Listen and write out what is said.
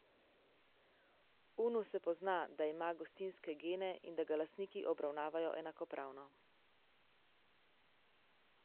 Unu se pozna, da ima gostinske gene in da ga lastniki obravnavajo enakopravno.